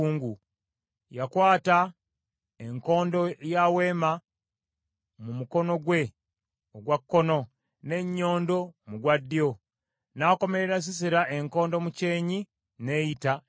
Yakwata enkondo ya weema mu mukono gwe ogwa kkono, n’ennyondo mu gwa ddyo, n’akomerera Sisera enkondo mu kyenyi n’eyita namu.